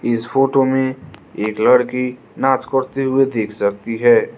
इस फोटो में एक लड़की नाच करते हुए दिख रही है।